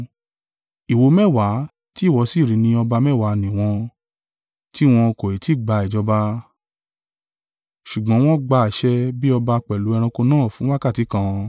“Ìwo mẹ́wàá tí ìwọ sì rí ni ọba mẹ́wàá ni wọn, tí wọn kò ì ti gba ìjọba; ṣùgbọ́n wọn gba àṣẹ bí ọba pẹ̀lú ẹranko náà fún wákàtí kan.